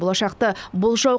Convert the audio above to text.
болашақты болжау